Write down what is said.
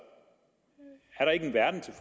er der ikke en verden til